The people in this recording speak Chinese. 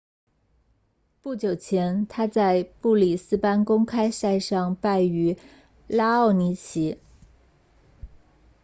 不久前他在布里斯班公开赛上败于拉奥尼奇